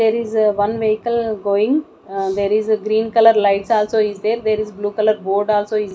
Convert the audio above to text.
there is a one vehicle going ahh there is a green colour light also is there there is blue colour board also is--